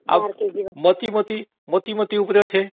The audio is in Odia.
ଆଉ ମତିଗତି ଉପରେ ଅଛି